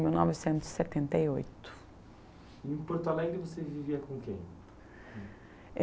mil novecentos e setenta e oito. Em Porto Alegre você vivia com quem?